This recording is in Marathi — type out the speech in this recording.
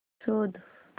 शोध